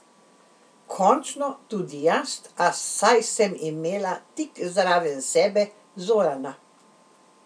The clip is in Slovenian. Končno tudi jaz, a saj sem imela tik zraven sebe Zorana.